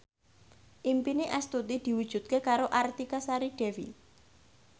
impine Astuti diwujudke karo Artika Sari Devi